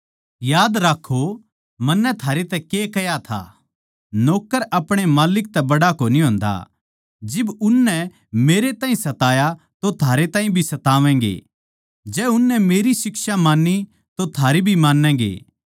याद राक्खों मन्नै थारै तै के कह्या था नौक्कर अपणे माल्लिक तै बड्ड़ा कोनी होंदा जिब उननै मेरै ताहीं सताया तो थारैताहीं भी सतावैगें जै उननै मेरी शिक्षा मान्नी तो थारी भी माँन्नैगें